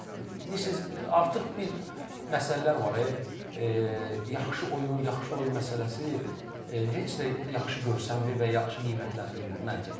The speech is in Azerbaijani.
Bilirsiz, artıq bir məsələlər var, yaxşı oyun, yaxşı oyun məsələsi heç də yaxşı görsənmir və yaxşı qiymətləndirmir məncə.